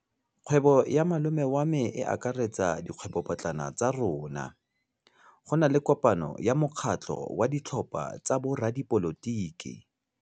Kgwêbô ya malome wa me e akaretsa dikgwêbôpotlana tsa rona. Go na le kopanô ya mokgatlhô wa ditlhopha tsa boradipolotiki.